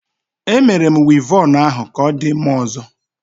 E Mere m Wivọnụ ahu ka odi mma ozo